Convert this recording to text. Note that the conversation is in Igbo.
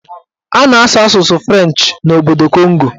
A na-asụ asụsụ Frenchị n'obodo Kongo